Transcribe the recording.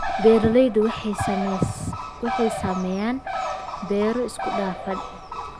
Beeraleydu waxay sameeyaan beero isku dhafan.